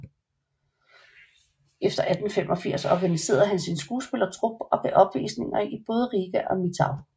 Efter 1885 organiserede han sin skuespillertrup og gav opvisninger i både Riga og Mitau